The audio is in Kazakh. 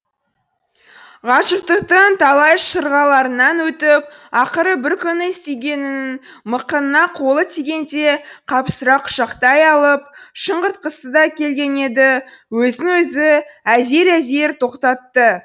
ғашықтықтың талай шырғаларынан өтіп ақыры бір күні сүйгенінің мықынына қолы тигенде қапсыра құшақтай алып шыңғыртқысы да келген еді өзін өзі әзер әзер тоқтатты